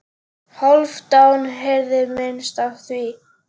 Hálfdán heyrði minnst af því.